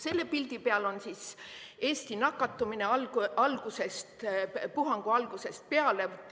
Selle pildi peal on Eesti nakatumine puhangu algusest peale.